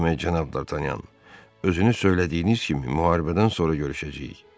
Demək, Cənab Dartanyan, özünü söylədiyiniz kimi müharibədən sonra görüşəcəyik.